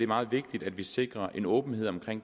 meget vigtigt at vi sikrer en åbenhed omkring